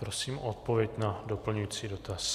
Prosím o odpověď na doplňující dotaz.